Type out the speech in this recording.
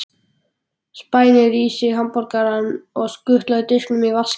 Spænir í sig hamborgarann og skutlar diskinum í vaskinn.